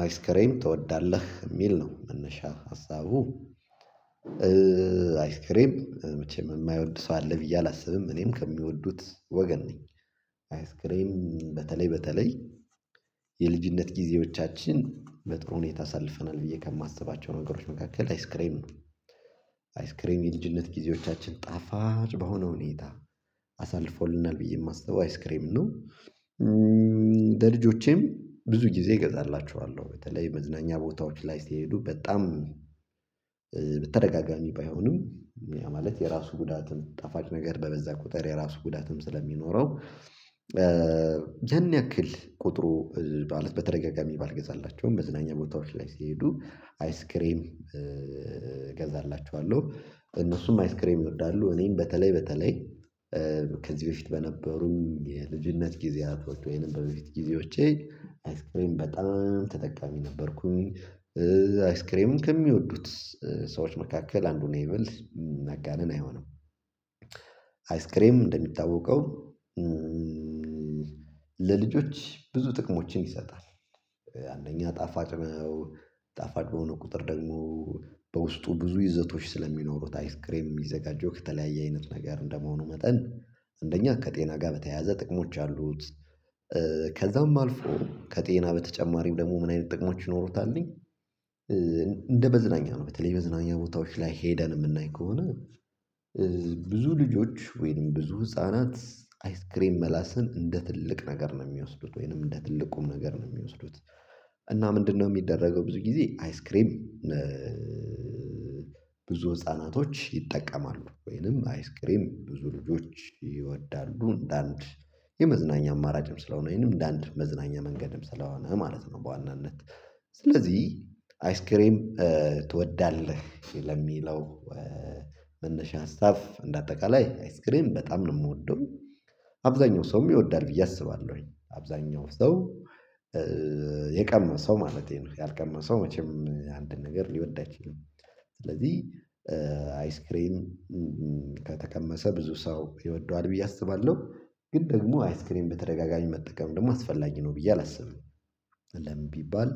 አይስክሬም ትወዳለህ የሚል ነው መነሻ ሀሳቡ አይስክሬም መቼም የማይወድ ሰው አለ ብዬ አላስብም እኔም ከሚወዱት ወገን ነኝ። አይስክሬም በተለይ በተለይ የልጅነት ጊዜዎቻችን በጥሩ ሁኔታ አሳልፈናል ብዬ ከማስባቸው ነገሮች መካከል አይስክሬም ነው። አይስክሬም የልጅነት ጊዜዎቻችን ጣፋጭ በሆነ ሁኔታ አሳልፎልናል ብዬ የማስበው አይስክሬም ነው። ለልጆቼም ብዙ ጊዜ እገዛላችኋለሁ በተለይ መዝናኛ ቦታዎች ላይ ሲሄዱ በጣም በተደጋጋሚ ባይሆኑም ማለት የራሱ ጉዳትም ጣፋጭ ነገር በበዛ ቁጥር የራሱ ጉዳትም ስለሚኖረው። ያን ያክል ቁጥሩ ማለት በተደጋጋሚ ባልገዛላቸውም በዝናኛ ቦታዎች ላይ ሲሄዱ አይስክሬም እገዛላችኋለሁ እነሱም አይስክሬም ይወዳሉ። እኔም በተለይ በተለይ ከዚህ በፊት በነበሩም የልጅነት ጊዜያቶች ወይንም በበፊት ጊዜዎች አይስክሬን በጣም ተጠቃሚ ነበርኩኝ። አይስክሬምን ከሚወዱት ሰዎች መካከል አንዱ እኔ ብልስ መጋነን አይሆንም። አይስክሬም እንደሚታወቀው ለልጆች ብዙ ጥቅሞችን ይሰጣል። አንደኛ ጣፋጭ ጣፋጭ በሆነ ቁጥር ደግሞ በውስጡ ብዙ ይዘቶች ስለሚኖሩት አይስክሬም የሚዘጋጀው ከተለያየ አይነት ነገር እንደመሆኑ መጠን አንደኛ ከጤና ጋር በተያያዘ ጥቅሞች አሉት። ከዛም አልፎ ከጤና በተጨማሪም ደግሞ ምን አይነት ጥቅሞች ይኖሩታልኝ? እንደ በዝናኛ ነው በተለይ በዝናኛ ቦታዎች ላይ ሄደን የምናይ ከሆነ ብዙ ልጆች ወይም ብዙ ህፃናት አይስክሬም መላስን እንደ ትልቅ ነገር ነው የሚወስዱት ወይንም እንደ ትልቁም ነገር ነው የሚወስዱት። እና ምንድነው የሚደረገው ብዙ ጊዜ አይስክሬም? ብዙ ህፃናቶች ይጠቀማሉ ወይንም አይስክሬም ብዙ ልጆች ይወዳሉ እንደ አንድ የመዝናኛ አማራጭም ስለሆነ ይሄንም እንደ አንድ መዝናኛ መንገድም ስለሆነ ማለት ነው። በዋናነት ስለዚህ አይስክሬም ትወዳለህ ለሚለው መነሻ ሀሳብ እንደ አጠቃላይ አይስክሬም በጣም ነው የምወደው። አብዛኛው ሰውም ይወዳል ብዬ አስባለሁ ወይ አብዛኛው ሰው የቀመሰው ማለቴ ነው ያልቀመሰው መቼም አንድ ነገር ሊወዳ ይችላል። ስለዚህ አይስክሬም ከተቀመሰ ብዙ ሰው ይወደዋል ብዬ አስባለሁ። ግን ደግሞ አይስክሪን በተደጋጋሚ መጠቀም ደግሞ አስፈላጊ ነው ብዬ አላስብም። አለም ቢባል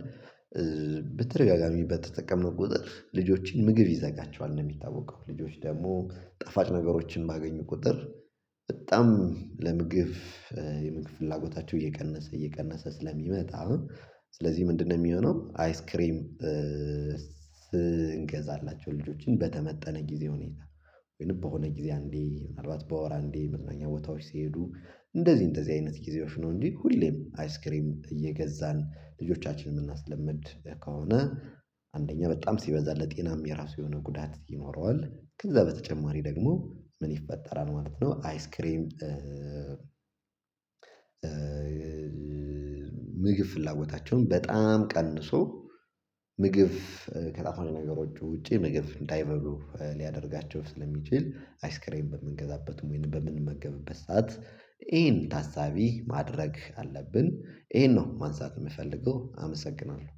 በተደጋጋሚ በተጠቀመው ቁጥር ልጆችን ምግብ ይዘጋቸዋል ነው የሚታወቀው። ልጆች ደግሞ ጠፋጭ ነገሮችን ባገኙ ቁጥር በጣም ለምግብ የምግብ ፍላጎታቸው እየቀነሰ እየቀነሰ ስለሚመጣ። አሁን ስለዚህ ምንድነው የሚሆነው አይስክሪም? ስንገዛላቸው ልጆችን በተመጠነ ጊዜ ሁኔታ ወይንም በሆነ ጊዜ አንዴ ምናልባት በወር አንዴ መዝናኛ ቦታዎች ሲሄዱ እንደዚህ እንደዚህ አይነት ጊዜዎች ነው እንዴ ሁሌም አይስክሪም እየገዛን ልጆቻችንን የምናስለምድ ከሆነ? አንደኛ በጣም ሲበዛለት ጤናም የራሱ የሆነ ጉዳት ይኖረዋል። ከዛ በተጨማሪ ደግሞ ምን ይፈጠራል ማለት ነው። አይስክሬም። ምግብ ፍላጎታቸውን በጣም ቀንሶ ምግብ ከጣፋጭ ነገሮች ውጪ ምግብ እንዳይበሉ ሊያደርጋቸው ስለሚችል። አይስክሬን በምንገዛበት ወይንም በምንመገብበት ሰዓት ይሄን ታሳቢ ማድረግ አለብን ይሄን ነው ማንሳት የምፈልገው አመሰግናለሁ